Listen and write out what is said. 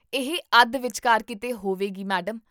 ਇਹ ਅੱਧ ਵਿਚਕਾਰ ਕੀਤੇ ਹੋਵੇਗੀ ਮੈਡਮ